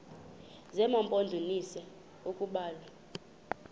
zema mpondomise kubalwa